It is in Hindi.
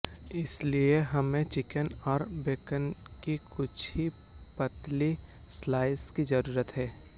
इसके लिए हमें चिकन और बेकन के कुछ ही पतली स्लाइस की जरूरत है